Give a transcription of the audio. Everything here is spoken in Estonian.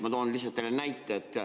Ma toon lihtsalt teile näite.